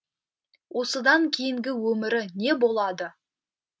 осыдан кейінгі өмірі не болады